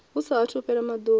hu sa athu fhela maḓuvha